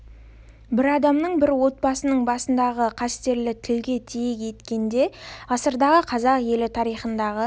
бір адамның бір отбасының басындағы қасіретті тілге тиек еткенде ғасырдағы қазақ елі тарихындағы